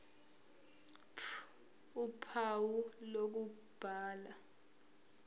ph uphawu lokubhala